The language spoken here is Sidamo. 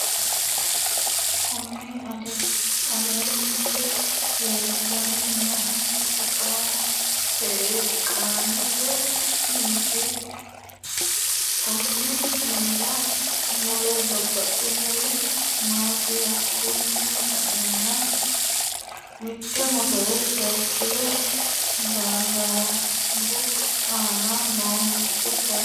Kunni illete leelani noohu teqamete mineeti kunni minirra mule babaxinori noosi hakiino sa'eena mitte mottore sayiikile barandu aana no mitte kayiini....